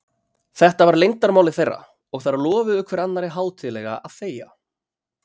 Þetta var leyndarmálið þeirra, og þær lofuðu hver annarri hátíðlega að þegja.